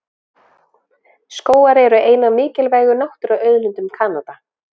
Skógar eru ein af mikilvægu náttúruauðlindum Kanada.